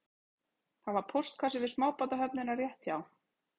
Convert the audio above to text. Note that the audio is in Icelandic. Það var póstkassi við smábátahöfnina rétt hjá